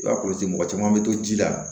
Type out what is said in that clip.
I b'a kɔlɔsi mɔgɔ caman bɛ to ji la